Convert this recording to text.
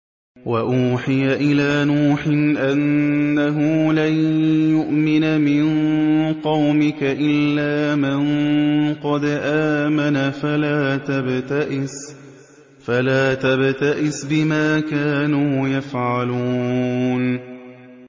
وَأُوحِيَ إِلَىٰ نُوحٍ أَنَّهُ لَن يُؤْمِنَ مِن قَوْمِكَ إِلَّا مَن قَدْ آمَنَ فَلَا تَبْتَئِسْ بِمَا كَانُوا يَفْعَلُونَ